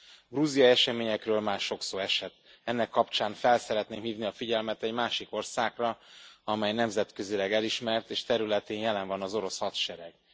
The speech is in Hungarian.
A grúziai eseményekről már sok szó esett, ennek kapcsán fel szeretném hívni a figyelmet egy másik országra, amely nemzetközileg elismert, és területén jelen van az orosz hadsereg.